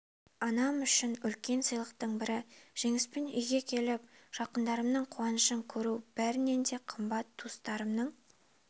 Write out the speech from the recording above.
анам үшін үлкен сыйлықтың бірі жеңіспен үйге келіп жақындарымның қуанышын көру бәрінен де қымбат туыстарымның